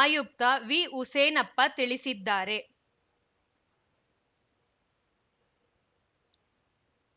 ಆಯುಕ್ತ ವಿಹುಸೇನಪ್ಪ ತಿಳಿಸಿದ್ದಾರೆ